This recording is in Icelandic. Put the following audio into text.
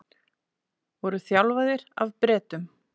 Voru þjálfaðir af Bretum